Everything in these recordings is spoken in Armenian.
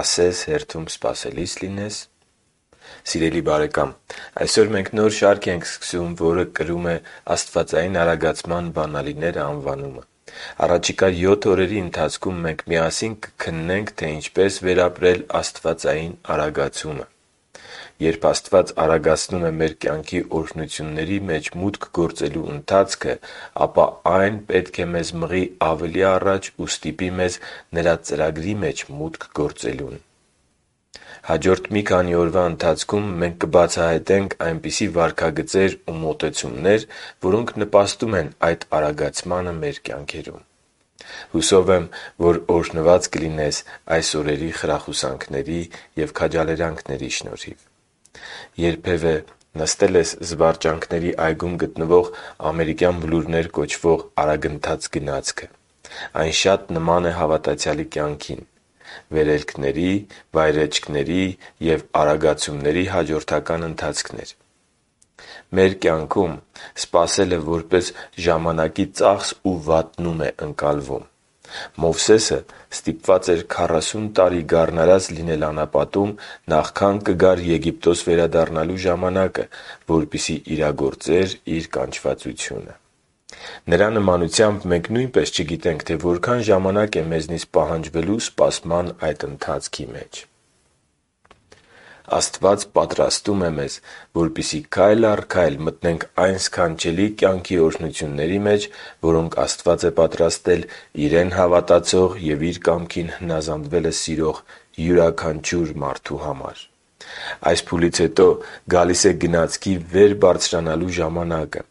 Ասես հերթում սպասելի՞ս լինես․․․ Սիրելի բարեկա՛մ, այսօր մենք նոր շարք ենք սկսում, որը կրում է «Աստվածային արագացման բանալիները» անվանումը։ Առաջիկա յոթ օրերի ընթացքում մենք միասին կքննենք, թե ինչպես վերապրել աստվածային արագացումը: Երբ Աստված արագացնում է մեր կյանքի օրհնությունների մեջ մուտք գործելու ընթացքը, ապա այն պետք է մեզ մղի ավելի առաջ և ստիպի մեզ Նրա ծրագրի մեջ մուտք գործելուն: Հաջորդ մի քանի օրվա ընթացքում մենք կբացահայտենք այնպիսի վարքագծեր ու մոտեցումներ, որոնք նպաստում են այդ արագացմանը մեր կյանքում: Հուսով եմ, որ օրհնված կլինես այս օրերի խրախուսանքների շնորհիվ: Երբևէ նստե՞լ ես զվարճանքների այգում գտնվող ամերիկյան բլուրներ կոչվող արագընթաց գնացքը։ Այն շատ նման է հավատացյալի կյանքին՝ վերելքների, վայրէջքների և արագացումների հաջորդական ընթացքներ: Մեր կյանքում սպասելը հաճախ որպես ժամանակի ծախս ու վատնում է ընկալվում: Մովսեսը ստիպված էր 40 տարի գառնարած լինել անապատում նախքան կգար Եգիպտոս վերադառնալու ժամանակը, որպեսզի իրագործեր իր կանչվածությունը։ Նրա նմանությամբ մենք նույնպես չգիտենք, թե որքան ժամանակ է մեզնից պահանջելու սպասման այդ ընթացքը: Աստված պատրաստում է մեզ, որպեսզի քայլ առ քայլ մտնենք այն սքանչելի կյանքի օրհնությունների մեջ, որոնք Աստված է պատրաստել Իրեն հավատացող և Իր կամքին հնազանդվելը սիրող յուրաքանչյուր մարդու համար: Այս փուլից հետո գալիս է գնացքի վեր բարձրանալու ժամանակը: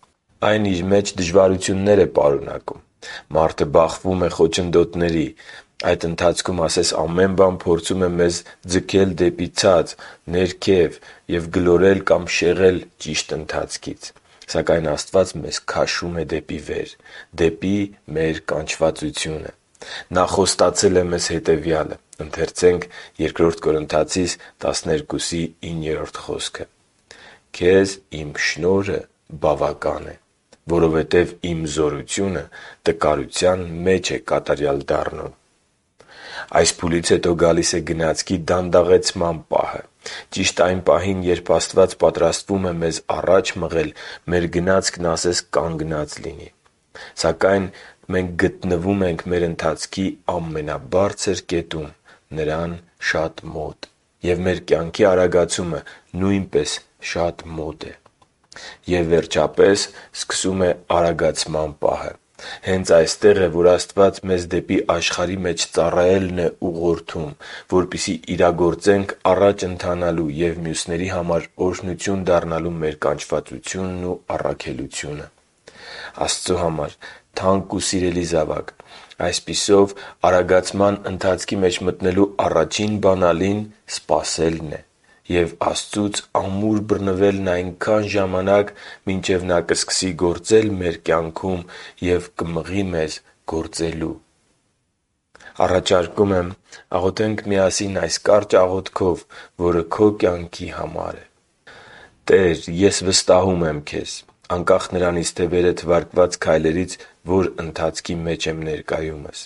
Այն իր մեջ դժվարություններ է պարունակում։ Մարդը բախվում է խոչընդոտների։ Այդ ընթացքում ասես ամեն բան փորձում է մեզ ձգել դեպի ներքև, ցած գլորել կամ շեղել ճիշտ ընթացքից: Սակայն Աստված մեզ քաշում է դեպի վեր՝ դեպի մեր կանչվածությունը: Նա խոստացել է մեզ հետևյալը. «Քեզ Իմ շնորհը բավական է, որովհետև Իմ զորությունը տկարության մեջ է կատարյալ դառնում» (Բ Կորնթացիներին 12.9)։ Այս փուլից հետո գալիս է գնացքի դանդաղեցման պահը։ Ճիշտ այն պահին, երբ Աստված պատրաստվում է մեզ առաջ մղել, մեր գնացքն ասես կանգնած լինի։ Սակայն գտնվում ենք մեր ընթացքի ամենաբարձր կետում՝ Նրան շատ մոտ, և մեր կյանքի արագացումը նույնպես շատ մոտ է։ Եվ, վերջապես, սկսվում է արագացման պահը: Հենց այստեղ է, որ Աստված մեզ դեպի աշխարհի մեջ ծառայելն է ուղղորդում, որպեսզի իրագործենք առաջ ընթանալու և մյուսների համար օրհնություն դառնալու մեր կանչվածությունն ու առաքելությունը: Աստծո համար թանկ ու սիրելի զավա՛կ, այսպիսով, արագացման ընթացքի մեջ մտնելու առաջին բանալին սպասելն է և Աստծուց ամուր բռնվելն այնքան ժամանակ, մինչև Նա սկսի գործել մեր կյանքում և մղի մեզ գործելու: Առաջարկում եմ աղոթենք միասին այս կարճ աղոթքով, որը քո կյանքի համար է․ «Տե՛ր, ես վստահում եմ Քեզ, անկախ նրանից, թե վերը թվարկված քայլերից որ ընթացքի մեջ եմ ներկայումս։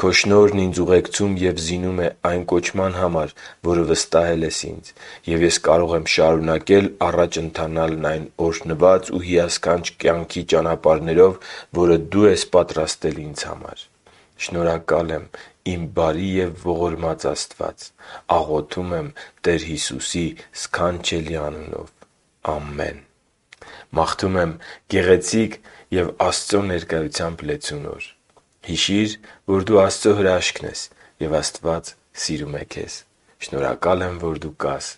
Քո շնորհն ինձ ուղեկցում և զինում է այն կոչման համար, որը վստահել ես ինձ, և ես կարող եմ շարունակել առաջ ընթանալն այն օրհնված ու հիասքանչ կյանքի ճանապարհներով, որը Դու ես պատրաստել ինձ համար: Շնորհակալ եմ, իմ բարի և ողորմած Աստված։ Աղոթում եմ Տեր Հիսուսի սքանչելի անունով։ Ամե՛ն»: Մաղթում եմ գեղեցիկ և Աստծո ներկայությամբ լեցուն օր: Հիշի՛ր, որ դու Աստծո հրաշքն ես, և Աստված սիրում է քեզ։ Շնորհակալ եմ, որ դու կա՛ս։